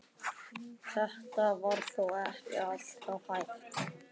Þetta var þó ekki alltaf hægt.